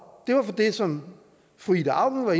er det som fru ida auken og